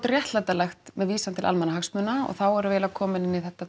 réttlætanlegt með vísan til almannahagsmuna og þá erum við eiginlega komin inn í þetta